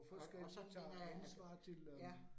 Og og så at at ja